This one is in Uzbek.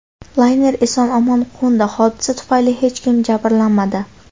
Layner eson-omon qo‘ndi, hodisa tufayli hech kim jabrlanmadi.